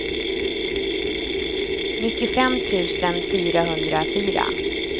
nittiofem tusen fyrahundrafyra